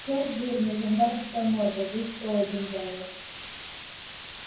чёрт жирный жандармская морда весь стол один занял